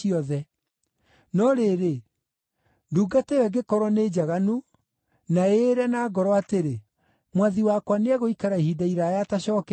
No rĩrĩ, ndungata ĩyo ĩngĩkorwo nĩ njaganu, na ĩĩre na ngoro atĩrĩ, ‘Mwathi wakwa nĩegũikara ihinda iraaya atacookete,’